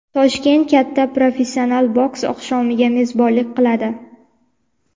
Toshkent katta professional boks oqshomiga mezbonlik qiladi.